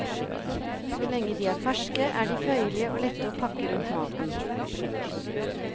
Så lenge de er ferske, er de føyelige og lette å pakke rundt maten.